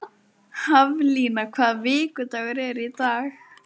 Haflína, hvaða vikudagur er í dag?